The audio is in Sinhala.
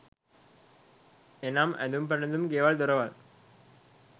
එනම් ඇඳුම් පැළඳුම් ගෙවල්, දොරවල්,